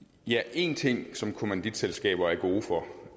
én ting som kommanditselskaber er gode for